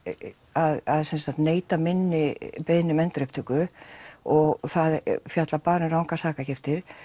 að neita minni beiðni um endurupptöku og það fjallar bara um rangar sakargiftir